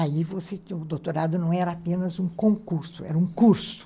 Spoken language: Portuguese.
Aí você, o doutorado não era apenas um concurso, era um curso.